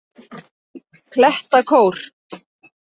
Klettakór